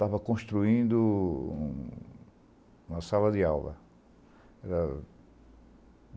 Tava construindo uma sala de aula.